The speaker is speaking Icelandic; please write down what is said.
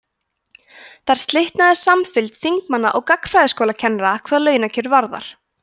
þar slitnar samfylgd þingmanna og gagnfræðaskólakennara hvað launakjör varðar